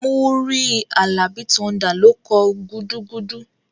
Múrí Àlàbí Thunder ló kọ "gudugudu"